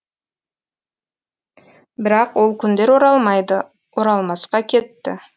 бірақ ол күндер оралмайды оралмасқа кетті